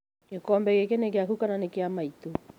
Gĩkombe gĩkĩ nĩ gĩaku kana nĩ kĩa maitũ?